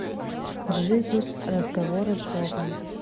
джизус разговоры с богом